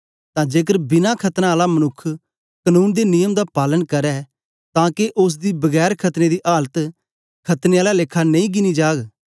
तां जेकर बिना खतना आला मनुक्ख कनून दे नियम दा पालन करै तां के ओसदी बिना खतने दी आलत खतने आला लेखा नेई गिनी जाग